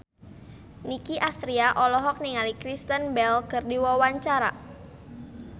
Nicky Astria olohok ningali Kristen Bell keur diwawancara